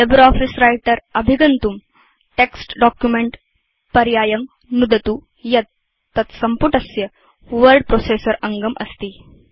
LibreOffice Writerअभिगन्तुं text Documentपर्यायं नुदतु यत् तत्सम्पुटस्य वर्ड प्रोसेसर अङ्गम् अस्ति